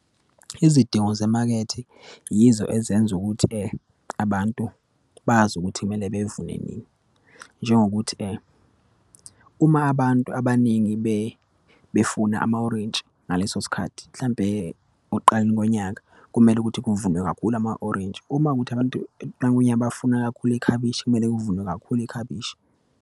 Izidingo zemakethe yizo ezenza ukuthi abantu bazi ukuthi kumele bevune nini. Nnjengokuthi uma abantu abaningi befuna ama-orintshi ngaleso sikhathi, mhlampe okuqaleni konyaka kumele ukuthi kuvunwe kakhulu ama-orintshi. Uma kuwukuthi abantu ekuqaleni konyaka bafuna kakhulu ikhabishi, kumele kuvunwe kakhulu ikhabishi.